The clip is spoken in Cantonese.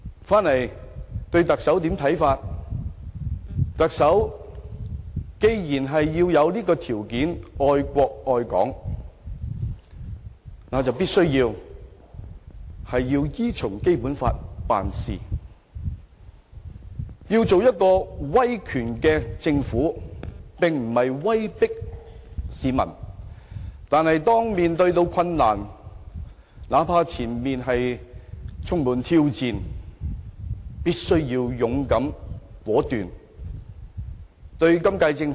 回到對特首的看法上，既然成為特首的條件是愛國愛港，便必須依循《基本法》辦事，要做一個威權政府，並非威迫市民。但是，當面對困難，哪怕前路充滿挑戰，也必須勇敢果斷。